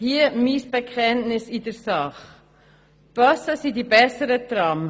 Hier mein Bekenntnis in der Sache: Die Busse sind die besseren Trams.